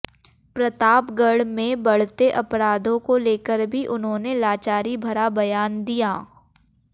प्रतापगढ़ में बढ़ते अपराधों को लेकर भी उन्होंने लाचारी भरा बयान दिया